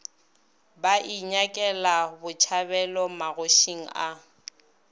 ba inyakela botšhabelo magošing a